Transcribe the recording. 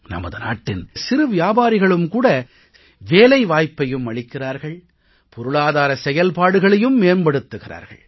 நமது நாட்டின் சிறிய வியாபாரிகள் வேலைவாய்ப்பையும் அளிக்கிறார்கள் பொருளாதார செயல்பாடுகளையும் மேம்படுத்துகிறார்கள்